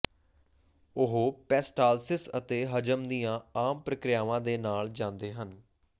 ਉਹ ਪੇਸਟਾਲਸਿਸ ਅਤੇ ਹਜ਼ਮ ਦੀਆਂ ਆਮ ਪ੍ਰਕ੍ਰਿਆਵਾਂ ਦੇ ਨਾਲ ਜਾਂਦੇ ਹਨ